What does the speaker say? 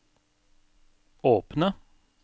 åpne